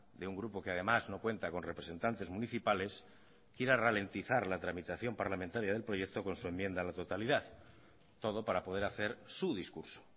de un grupo que además no cuenta con representantes municipales quiera ralentizar la tramitación parlamentaria del proyecto con su enmienda a la totalidad todo para poder hacer su discurso